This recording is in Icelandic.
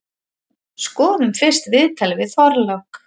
Skoðum fyrst viðtalið við Þorlák.